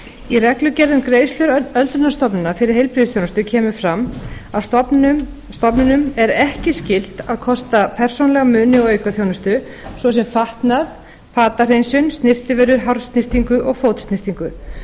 í reglugerð um greiðslu öldrunarstofnana fyrir öldrunarþjónustu kemur fram að stofnunum er ekki skylt að kosta persónulega muni og aukaþjónustu svo sem fatnað fatahreinsun snyrtivörur hársnyrtingu og fótsnyrtingu þó